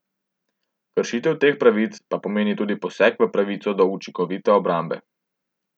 Kršitev teh pravic pa pomeni tudi poseg v pravico do učinkovite obrambe.